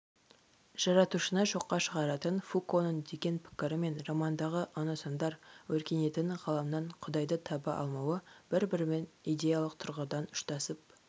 жаратушыны жоққа шығаратын фуконың деген пікірі мен романдағы оносамдар өркениетінің ғаламнан құдайды таба алмауы бір-бірімен идеялық тұрғыдан ұштасып